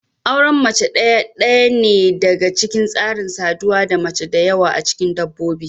Auren mace ɗaya ɗaya ne daga cikin tsarin saduwa da mace da yawa a cikin dabbobi.